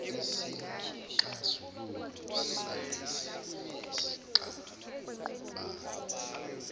isixazululo salezi zingxabano